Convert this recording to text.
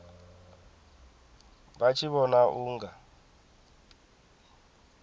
vha tshi vhona u nga